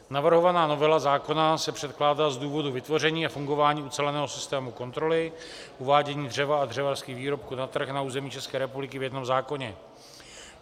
Navrhovaná novela zákona se předkládá z důvodu vytvoření a fungování uceleného systému kontroly uvádění dřeva a dřevařských výrobků na trh na území České republiky v jednom zákoně.